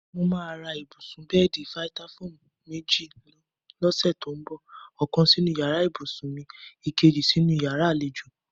Mo máa ra ibùsùn/bé̩è̩dì Fítáfóòmù méjì ló̩sè̩ tó ń bò̩; ò̩kan sínú yàrá ìbùsùn mi, èkejì sínú yàrá àlejò.